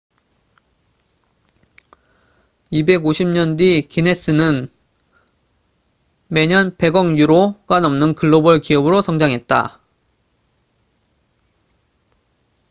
250년 뒤 기네스guinness은 매년 100억 유로약 147억 달러가 넘는 글로벌 기업으로 성장했다